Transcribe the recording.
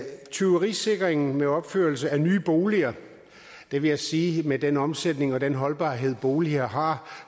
tyverisikringen ved opførelsen af nye boliger vil jeg sige at med den omsætning og den holdbarhed boliger har